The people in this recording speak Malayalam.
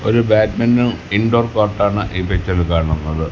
ഒരു ബാഡ്മിന്റൺ ഇന്റോർ കോർട്ട് ആണ് ഈ പിക്ചറിൽ കാണുന്നത്.